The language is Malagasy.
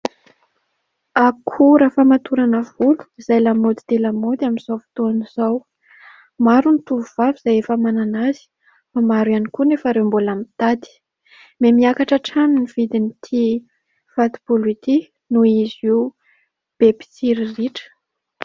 Akora famatorana volo, izay lamaody dia lamaody amin'izao fotoana izao. Maro ny tovovavy izay efa manana azy, maro ihany koa nefa ireo mbola mitady. Miha miakatra hatrany ny vidin'ity fato-bolo ity, noho izy io be mpitsiriritra.